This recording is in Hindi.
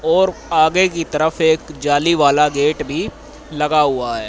और आगे की तरफ एक जाली वाला गेट भी लगा हुआ है।